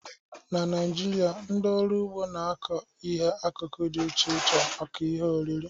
Na Naịjirịa, ndị ọrụ ugbo na-akọ ihe akụkụ dị iche iche maka ihe oriri.